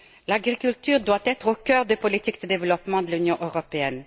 L'agriculture doit être au cœur des politiques de développement de l'Union européenne.